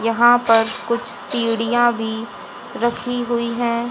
यहाँ पर कुछ सीढ़िया भी रखी हुई हैं।